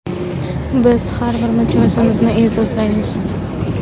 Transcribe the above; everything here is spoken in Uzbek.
Biz har bir mijozimizni e’zozlaymiz!